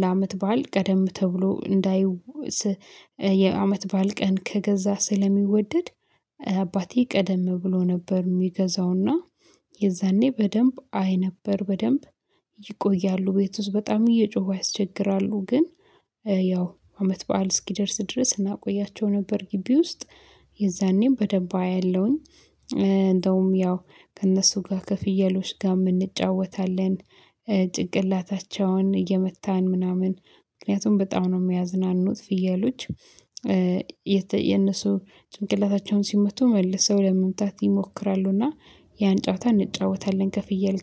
ለአመት በዓል ቀደም ተብሎ እንዳይ የአመት በዓል ቀን ከገዛ ስለሚወደድ አባቴ ቀደም ብሎ ነበር የሚገዛውና። የዛኔ በደንብ አይ ነበር በደንብ ይቆያሉ ቤት ውስጥ በጣም እየጮሁ ያስቸግራሉ። ግን ያው አመት በዓል እስኪደርስ ድረስ እናቆያቸው ነበር። ግቢ ውስጥ የዛኔም በደንብ አያለሁኝ። እንደውም ያው ከእነሱ ጋር ከፍየሎች ጋር እንጫወታለን። ጭቅላታቸውን እየመታን ምናምን ምክንያቱም በጣም ነው የሚያዝናኑት ፍየሎች። የነሱ ጭንቅላታቸውን ሲመቱ መልሰው ለመምጣት ይሞክራሉና። ያን ጨዋታ እንጫወታለን ከፍየል ጋር